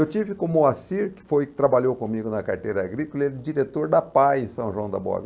Eu tive com o Moacir, que foi que trabalhou comigo na carteira agrícola, ele é diretor da Apae em São João da Vista.